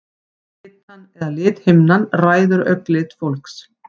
Litan eða lithimnan ræður augnlit fólks.